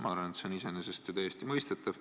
Ma arvan, et see on iseenesest täiesti mõistetav.